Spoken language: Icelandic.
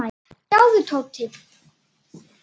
Sjáðu, Tóti.